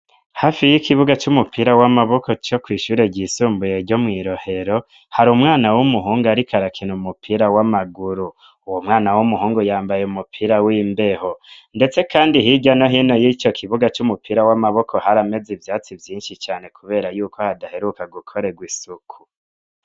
Hafi y'ikibuga c'umupira w'amaboko co kw'ishure ryisumbuye ryo mw'Irohero, hari umwana w'umuhungu ariko arakina umupira w'amaguru. Uwo mwana w'umuhungu yambaye umupira w'imbeho. Ndetse kandi hirya no hino y'ico kibuga c'umupira w'amaboko harameze ivyatsi vyinshi cane kubera yuko hadaheruka gukorerwa isuku.